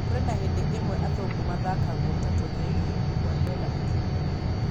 Kũrĩ na hĩndĩ imwe athũngũ mathakagwo ta tũgege’’ Kuardiola akauga